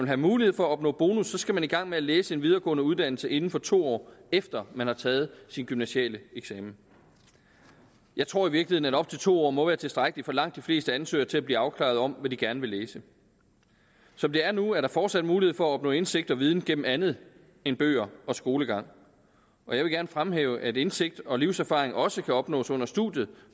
have mulighed for at opnå bonus skal man i gang med at læse en videregående uddannelse inden for to år efter man har taget sin gymnasiale eksamen jeg tror i virkeligheden at op til to år må være tilstrækkeligt for langt de fleste ansøgere til at blive afklaret om hvad de gerne vil læse som det er nu er der forsat mulighed for at opnå indsigt og viden gennem andet end bøger og skolegang og jeg vil gerne fremhæve at indsigt og livserfaring også kan opnås under studiet